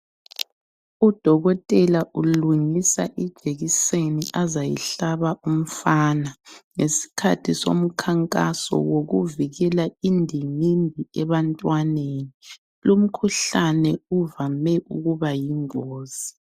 Udokotela ulungisa ijekiseni azayihlaba umfana ngesikhathi somkhankaso wokuvikela indingindi ebantwaneni. Lumkhuhlane uvame ukuba yingozi.